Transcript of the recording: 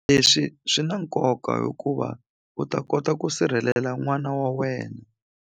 Leswi swi na nkoka hikuva u ta kota ku sirhelela n'wana wa wena.